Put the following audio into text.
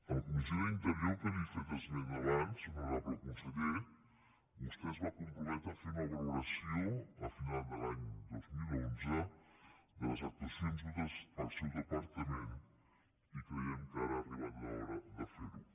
en la comissió d’interior de què li he fet esment abans honorable conseller vostè es va comprometre a fer una valoració a final de l’any dos mil onze de les actuacions dutes pel seu departament i creiem que ara ha arribat l’hora de fer ho